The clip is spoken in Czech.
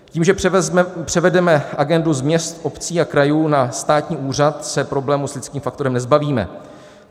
Tím, že převedeme agendu z měst, obcí a krajů na státní úřad, se problémů s lidským faktorem nezbavíme.